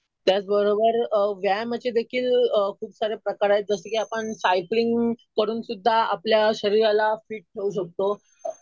त्याच बरोबर व्यायामाचे देखील खूप सारे प्रकार आहेत. जसं कि आपण सायकलिंग करून सुध्दा आपल्या शरीराला फिट ठेऊ शकतो.